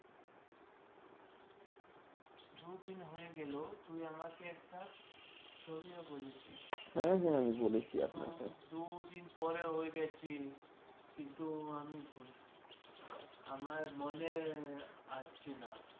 দুদিন হয়ে গেল তুই আমাকে একটা ছবিও বলেছিস । দুদিন পরে হয়ে গেছে কিন্তু আমি আমার মনে আসছে না